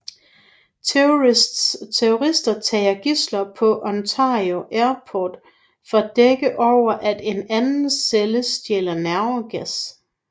Terrorister tager gidsler på Ontario Airport for at dække over at en anden celle stjæler nervegas